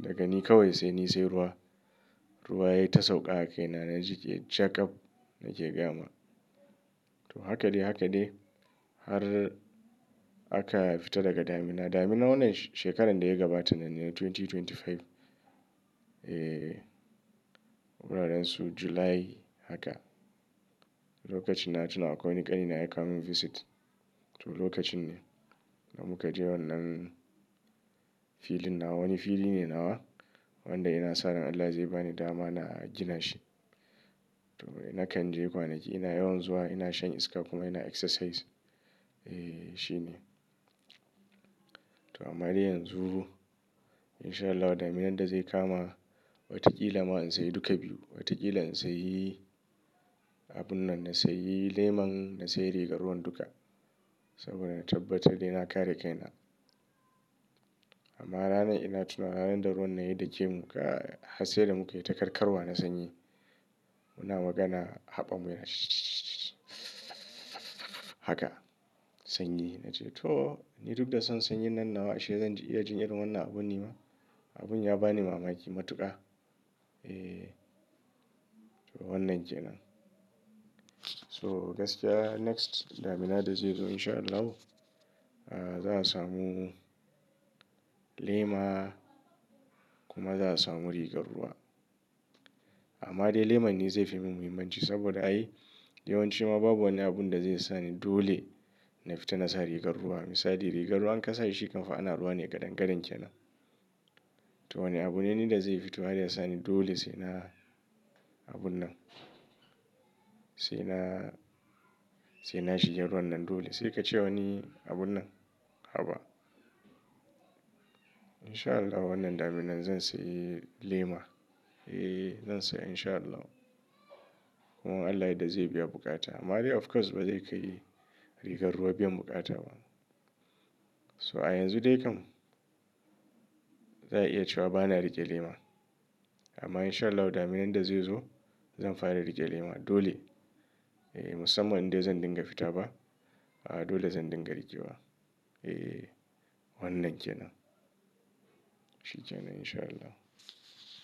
daga ni kawai sai ni sai ruwa. Ruwa ya yi ta sauƙa a kaina na jike jagaf nake gayama. To haka dai haka dai har aka fita daga damina. Daminan wannan shekaran da ya gabata nan ne 2025. Eh wuraren su July haka. Lokacin na tuna akwai wani ƙanina ya kawo mun visit. To lokacin ne da muka je wannan filin nawa wani fili ne nawa wanda ina sa ran Allah zai bani dama na gina shi. To nakan je kwanaki ina yawan zuwa ina shan iska kuma ina exercise. Eh shi ne. To amma dai yanzu in sha Allahu ɗaminan da zai kama wata kila ma in sayi duka biyu. Watakila in sayi abun nan na sayi leman na sayi rigar ruwan duka saboda na tabbatar da ina kare kaina. Amma rana ina tuna ranan da ruwan na yi da ke muka hasayar muka yi ta karkarwa na sanyi. Muna magana haɓan mu yana haka sanyi na ce to ni duk da son sanyi nan nawa ashe zan iya jin irin wannan abun ni ma? Abun ya bani mamaki matuƙa. Eh to wannan kenan. So gaskiya next daminar da zai zo in sha Allahu, ah, za a samu lema kuma za a samu rigar ruwa. Amma dai leman ne zai fi mun muhimmanci saboda ai yawanci ma babu wani abun da zai sa ni dole na fita na sa rigar ruwa. Misali rigar ruwan ka sa shi kam fa ana ruwa ne gadangadan kenan. To wani abune ni da zai fito har ya sa ni dole sai na abun nan. Sai na, sai na shiga ruwan nan dole sai ka ce wani abun nan haba. In sha Allahu wannan daminan zan sayi lema. Eh zan saya in sha Allahu. Kuma in Allah ya yadda zai biya buƙata amma dai of course bazai ka yi rigar ruwa biyan buƙata ba. So a yanzu dai kam za a iya cewa bana riƙe lema amma in sha Allahu daminan da zai zo zan fara riƙe lema dole. Eh musamman indai zan dinga fita ba, ah dole zan dinga riƙe wa. Eh wannan kenan. Shi kenan in sha Allahu.